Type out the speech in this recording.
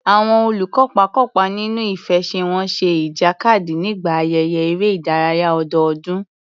Àwọn olùkópa kópa nínú ìfẹsẹ̀wọnsẹ̀ ìjàkadì nígbà ayẹyẹ eré ìdárayá ọdọọdún.